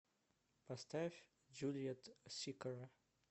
поставь джулиет сикора